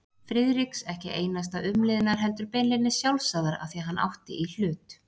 Friðriks ekki einasta umliðnar heldur beinlínis sjálfsagðar afþví hann átti í hlut.